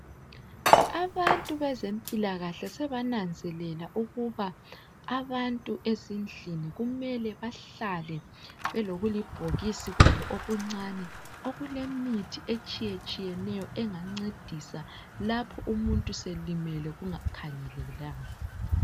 Abantu bezempilakahle sebananzelela ukuba abantu ezindlini kumele bahlale belokulibhokisi kwabo okuncane okulemithi etshiyetshiyeneyo engancedisa lapho umuntu selimele kungakhangelelwanga